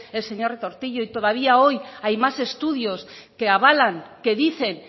el señor retortillo y todavía hoy hay más estudios que avalan que dicen